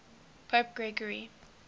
pope gregory